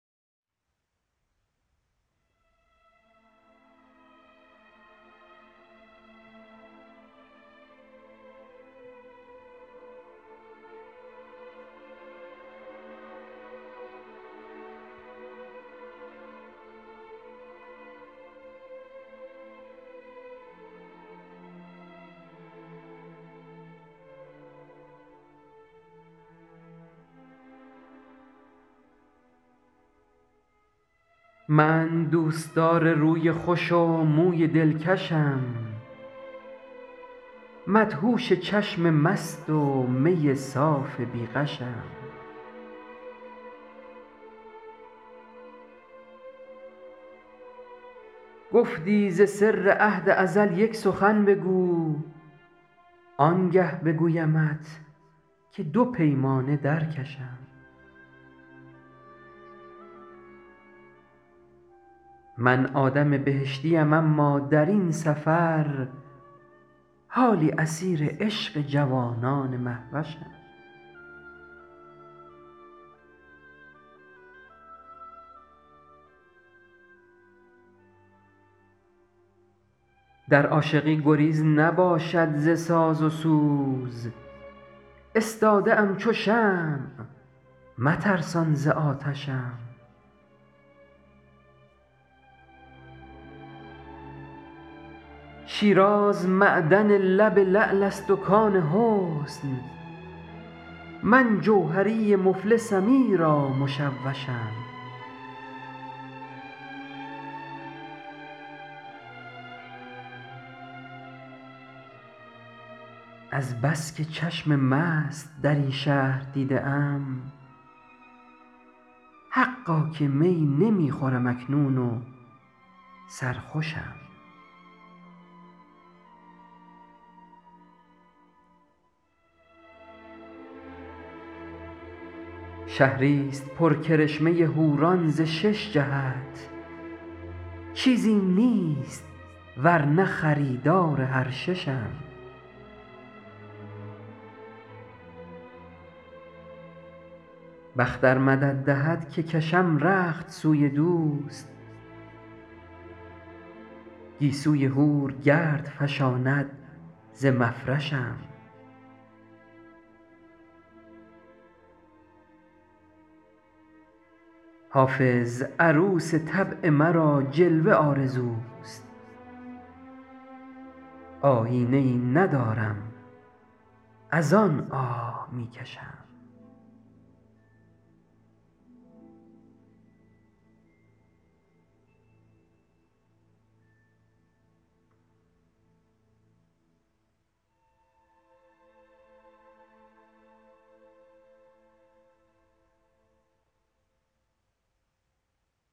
من دوستدار روی خوش و موی دلکشم مدهوش چشم مست و می صاف بی غشم گفتی ز سر عهد ازل یک سخن بگو آنگه بگویمت که دو پیمانه در کشم من آدم بهشتیم اما در این سفر حالی اسیر عشق جوانان مهوشم در عاشقی گزیر نباشد ز ساز و سوز استاده ام چو شمع مترسان ز آتشم شیراز معدن لب لعل است و کان حسن من جوهری مفلسم ایرا مشوشم از بس که چشم مست در این شهر دیده ام حقا که می نمی خورم اکنون و سرخوشم شهریست پر کرشمه حوران ز شش جهت چیزیم نیست ور نه خریدار هر ششم بخت ار مدد دهد که کشم رخت سوی دوست گیسوی حور گرد فشاند ز مفرشم حافظ عروس طبع مرا جلوه آرزوست آیینه ای ندارم از آن آه می کشم